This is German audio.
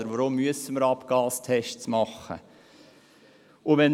Weshalb müssen wir Abgastests durchführen?